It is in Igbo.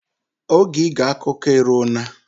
Oge ige akụkọ eruo na.